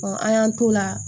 an y'an t'o la